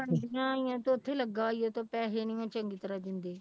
ਬਣਦੀਆਂ ਹੋਈਆਂ ਤੇ ਉੱਥੇ ਲੱਗਾ ਹੋਇਆ ਤੇ ਪੈਸੇ ਨੀ ਉਹ ਚੰਗੀ ਤਰ੍ਹਾਂ ਦਿੰਦੇ।